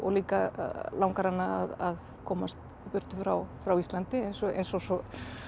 líka langar hana að komast í burtu frá frá Íslandi eins og eins og svo